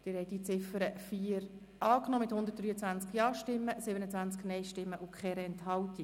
Sie haben die Ziffer 4 der Motion angenommen mit 123 Ja-, 27 Nein-Stimmen, ohne Enthaltung.